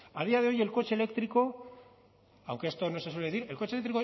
a día de hoy el coche eléctrico aunque esto no se suele decir el coche eléctrico